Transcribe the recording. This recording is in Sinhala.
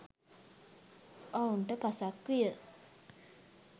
ඔවුන්ට පසක් විය.